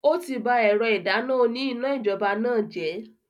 O ti bá ẹ̀rọ ìdáná òní iná-ijọba náà jẹ.